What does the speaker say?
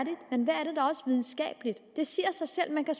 videnskabeligt det siger sig selv man kan